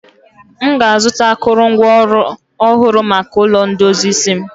m ga-azụta akụrụngwa ọhụrụ maka ulo ndozi isi m